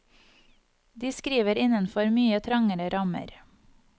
De skriver innenfor mye trangere rammer.